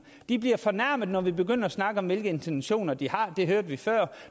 de bliver fornærmede når vi begynder at snakke om hvilke intentioner de har det hørte vi før